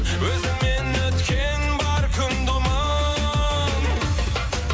өзіңмен өткен бар күн думан